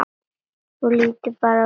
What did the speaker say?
Þú lítur bara vel út!